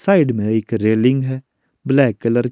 side में एक railing है ब्लैक कलर --